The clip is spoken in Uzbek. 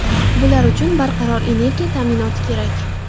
Bular uchun barqaror energiya ta’minoti kerak.